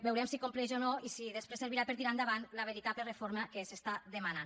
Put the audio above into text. veurem si compleix o no i si després servirà per a tirar endavant la veritable reforma que s’està demanant